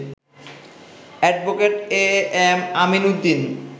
advocate AM Amin Uddin